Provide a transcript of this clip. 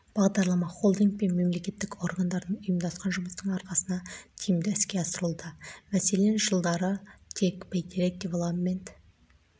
бағдарлама холдинг пен мемлекеттік органдардың ұйымдасқан жұмысының арқасында тиімді іске асырылуда мәселен жылдары тек бәйтерек девелопмент